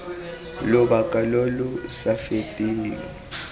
lobaka lo lo sa feteng